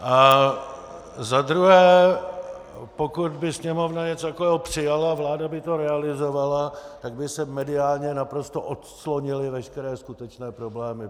A za druhé, pokud by Sněmovna něco takového přijala, vláda by to realizovala, tak by se mediálně naprosto odclonily veškeré skutečné problémy.